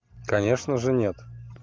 конечно же нет